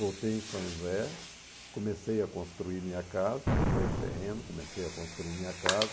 Voltei em São José, comecei a construir minha casa, comprei um terreno, comecei a construir minha casa.